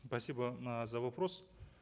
спасибо за вопрос